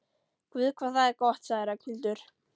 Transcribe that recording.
Guð hvað það er gott sagði Ragnhildur.